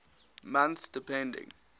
months depending